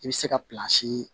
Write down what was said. I bɛ se ka